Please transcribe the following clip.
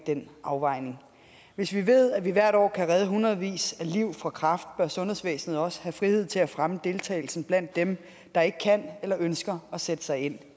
den afvejning hvis vi ved at vi hvert år kan redde i hundredvis af liv fra kræft bør sundhedsvæsenet også have frihed til at fremme deltagelsen blandt dem der ikke kan eller ønsker at sætte sig ind